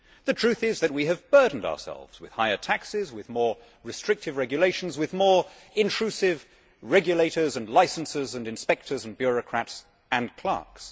The truth is that we have burdened ourselves with higher taxes, with more restrictive regulations, with more intrusive regulators and licences and inspectors and bureaucrats and clerks.